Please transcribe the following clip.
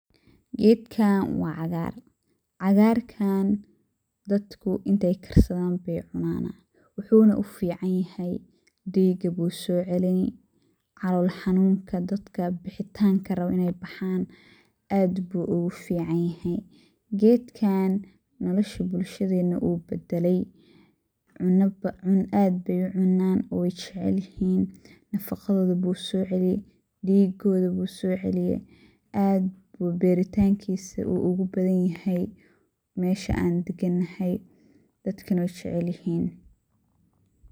Gedkan wa qagar, qagarka dadka intey karsadan ayey cunan wuxuna ufican yahay diga ayu socelini calool xanuun dadka bixitanka rawan aad ayu ogufican yahay. Gedkan nolasha bulshadena ayu badalay, aad bey uu cuuna jecelyihin nafaqadoda bu socelini digoda ay usocelini aad bu beritankisa ogubadan yahay meesha an daganahay dadka wey jecel yihin.